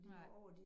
Nej